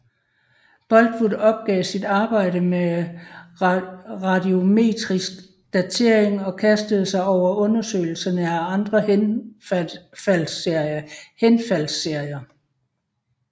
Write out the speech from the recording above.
Boltwood opgav sit arbejde med radiometrisk datering og kastede sig over undersøgelse af andre henfaldsserier